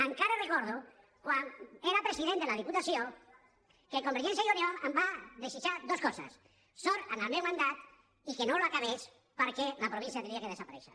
encara recordo quan era president unió em va desitjar dues coses sort en el meu mandat i que no l’acabés perquè la província hauria de desaparèixer